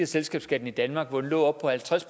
selskabsskatten i danmark hvor den lå oppe på halvtreds